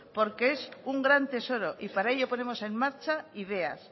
porque es un gran tesoro y para ello ponemos en marcha ideas